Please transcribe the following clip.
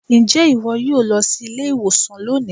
Ǹjẹ́ ìwọ yóò lọ sí ilé-ìwòsàn lónìị?